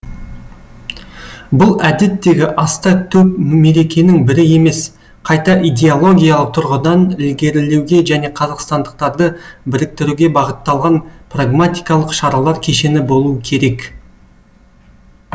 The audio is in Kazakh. бұл әдеттегі аста төк мерекенің бірі емес қайта идеологиялық тұрғыдан ілгерілеуге және қазақстандықтарды біріктіруге бағытталған прагматикалық шаралар кешені болуы керек